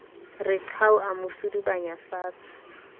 re qhau a mo sudubanyafatshe